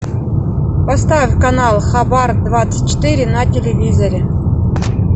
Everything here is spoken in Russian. поставь канал хабар двадцать четыре на телевизоре